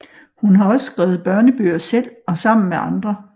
Hun har også skrevet børnebøger selv og sammen med andre